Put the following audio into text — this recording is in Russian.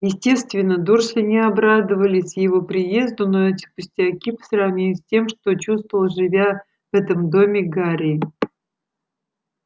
естественно дурсли не обрадовались его приезду но эт пустяки по сравнению с тем что чувствовал живя в этом доме гарри